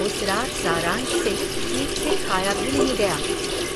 उस रात सारंश से ठीक से खाया भी नहीं गया।